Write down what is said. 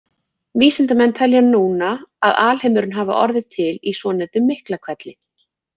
Vísindamenn telja núna að alheimurinn hafi orðið til í svonefndum Miklahvelli.